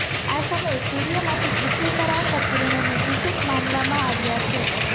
આ સમયે સૂર્યમાંથી પૃથ્વી પર આવતાં કિરણોને દૂષિત માનવામાં આવ્યાં છે